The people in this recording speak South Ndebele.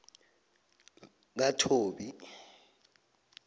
kathobi